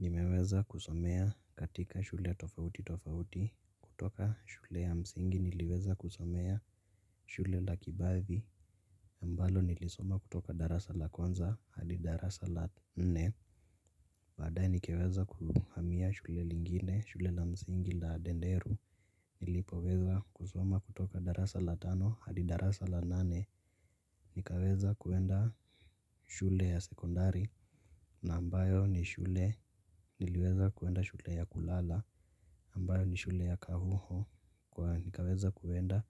Nimeweza kusomea katika shule tofauti tofauti. Kutoka shule ya msingi niliweza kusomea shule la kibabi ambalo nilisoma kutoka darasa la kwanza hadi darasa la nne. Baadae nikaweza kuhamia shule lingine shule la msingi la denderu. Nilipo weza kusoma kutoka darasa la tano hadi darasa la nane. Nikaweza kuenda shule ya sekondari. Na ambayo ni shule niliweza kuenda shule ya kulala ambayo ni shule ya kahuho na nikaweza kuenda